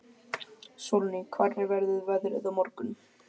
Sólný, hvernig verður veðrið á morgun?